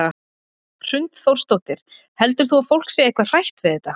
Hrund Þórsdóttir: Heldur þú að fólk sé eitthvað hrætt við þetta?